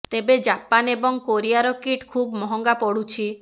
ତେବେ ଜାପାନ ଏବଂ କୋରିଆର କିଟ୍ ଖୁବ୍ ମହଙ୍ଗା ପଡୁଛି